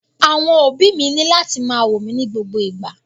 Àwọn òbí mi ni lati ma wo mi ni gbogbo igba.